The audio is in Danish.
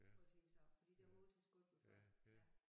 På ting så fordi det har hun altid kaldt mig for ja